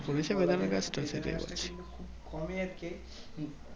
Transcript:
পড়েছে গাছটি খুব কমই আরকি